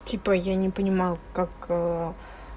типа я не понимал как